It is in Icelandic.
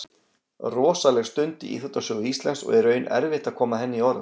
Rosaleg stund í íþróttasögu Íslands og í raun erfitt að koma henni í orð.